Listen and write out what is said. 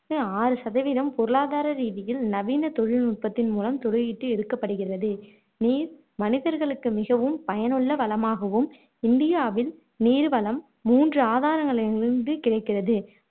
ஆறு சதவீதம் பொருளாதார ரீதியில் நவீன தொழில் நுட்பத்தின்மூலம் துளையிட்டு எடுக்கப்படுகிறது நீர் மனிதர்களுக்கு மிகவும் பயனுள்ள வளமாகவும் இந்தியாவில் நீர்வளம் மூன்று ஆதாரங்களிலிருந்து கிடைக்கிறது